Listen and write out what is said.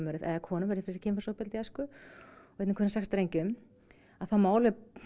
eða konum verður fyrir kynferðisofbeldi í æsku og einn af hverjum sex drengjum þá má